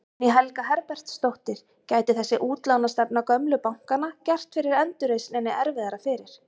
Guðný Helga Herbertsdóttir: Gæti þessi útlánastefna gömlu bankanna gert endurreisninni erfiðara fyrir?